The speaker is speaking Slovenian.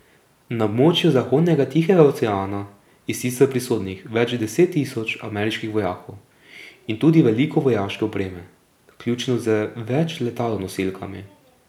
Na območju zahodnega Tihega oceana je sicer prisotnih več deset tisoč ameriških vojakov in tudi veliko vojaške opreme, vključno z več letalonosilkami.